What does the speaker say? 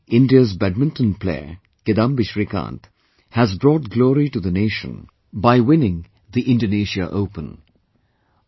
Recently India's Badminton player, Kidambi Shrikant has brought glory to the nation by winning Indonesia Open